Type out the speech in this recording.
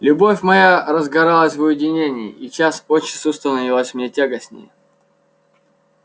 любовь моя разгоралась в уединении и час от часу становилась мне тягостнее